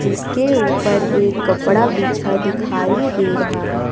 इसके ऊपर एक कपड़ा बिछा दिखाई दे रहा है।